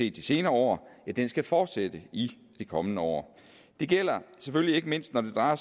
i de senere år skal fortsætte i de kommende år det gælder selvfølgelig ikke mindst når det drejer